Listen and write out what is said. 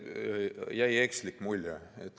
Ei, teile jäi ekslik mulje.